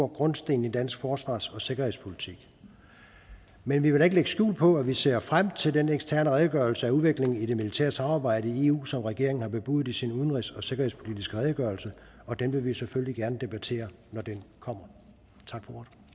grundstenen i dansk forsvars og sikkerhedspolitik men vi vil da ikke lægge skjul på at vi ser frem til den eksterne redegørelse for udviklingen i det militære samarbejde i eu som regeringen har bebudet i sin udenrigs og sikkerhedspolitiske redegørelse og den vil vi selvfølgelig gerne debattere når den kommer tak